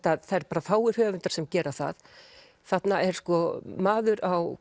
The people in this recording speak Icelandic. það eru fáir höfundar sem gera það þarna er maður á